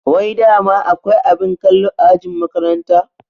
Wai dama akwai abin kallo a ajin makaranta?